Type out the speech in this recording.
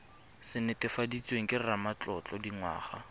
se netefaditsweng ke ramatlotlo dingwaga